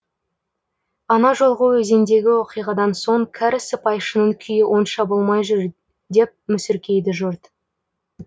ана жолғы өзендегі оқиғадан соң кәрі сыпайшының күйі онша болмай жүр деп мүсіркейді жұрт